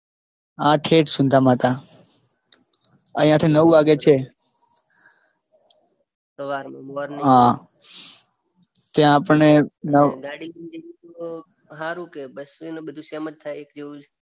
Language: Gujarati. હા છેક સુંધામાતા. અહિયાં થી નવ વાગે છે. સવારની. હા ત્યાં આપણને નવ. ગાડી લઈને જવું સારું કે બસ ને બધું સેમ જ એક એવુજ.